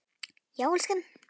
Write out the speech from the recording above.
Já, elskan?